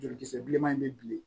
Jolikisɛ bileman in bɛ bilen